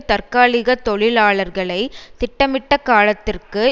தற்காலிக தொழிலாளர்களை திட்டமிட்ட காலத்திற்கு